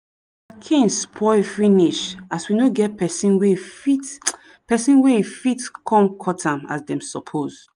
cane spoil finish as we no get pesin wey e fit pesin wey e fit come cut am as dem suppose